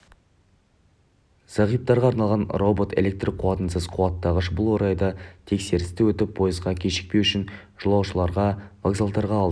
зағиптарға арналған робот электр қуатынсыз қуаттағыш бұл орайда тексерісті өтіп пойызға кешікпеу үшін жолаушылар вокзалдарға алдын